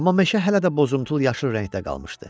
Amma meşə hələ də bozumtul yaşıl rəngdə qalmışdı.